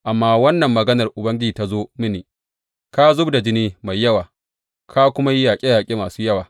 Amma wannan maganar Ubangiji ta zo mini, Ka zub da jini mai yawa ka kuma yi yaƙe yaƙe masu yawa.